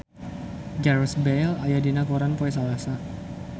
Gareth Bale aya dina koran poe Salasa